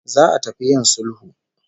Za'a tafi yIn sulhu